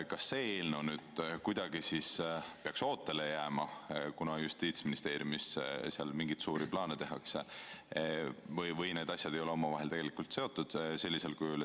Kas see eelnõu peaks kuidagi ootele jääma, kuna Justiitsministeeriumis tehakse mingeid suuri plaane, või need asjad ei ole omavahel sellisel kujul seotud?